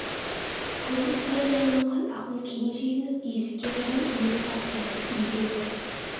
көңіл сәл жайланған ақын кейін шегініп есікке қарай иек қақты үйге кір